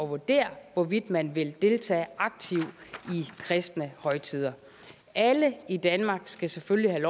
vurdere hvorvidt man vil deltage aktivt i kristne højtider alle i danmark skal selvfølgelig